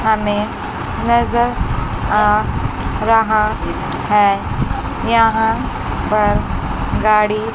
हमे नजर आ रहा है यहां पर गाड़ी--